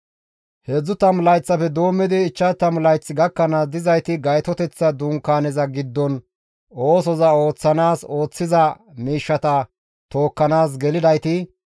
heedzdzu tammu layththafe doommidi 50 layth gakkanaas dizayti Gaytoteththa Dunkaaneza giddon oosoza ooththanaas ooththiza miishshata tookkanaas gelidayti,